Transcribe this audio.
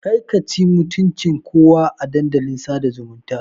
Ƙarka ci mutuncin kowa a Dandalin sada zumunta.